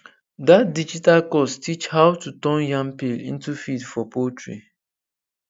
that digital course teach how to turn yam peel into feed for poultry